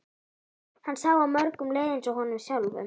Hann sá að mörgum leið eins og honum sjálfum.